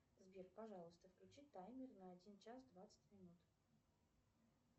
сбер пожалуйста включи таймер на один час двадцать минут